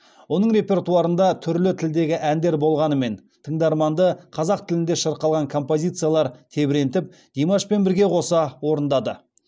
оның репертуарында түрлі тілдегі әндер болғанымен тыңдарманды қазақ тілінде шырқалған композициялар тебірентіп димашпен бірге қоса орындады